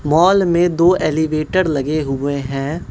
Mall में दो elevator लगे हुए हैं।